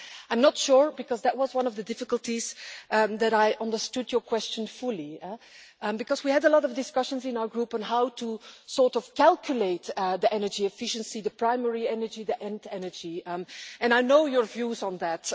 I'm not sure because that was one of the difficulties that I understood your question fully, because we had a lot of discussions in our group on how to calculate the energy efficiency the primary energy, the end energy and I know your views on that.